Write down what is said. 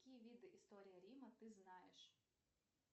какие виды истории рима ты знаешь